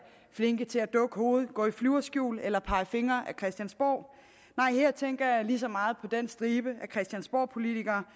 flinke til at dukke hovedet gå i flyverskjul eller pege fingre ad christiansborg nej her tænker jeg lige så meget på den stribe af christiansborgpolitikere